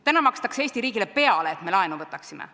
Täna makstakse Eesti riigile peale, et me laenu võtaksime.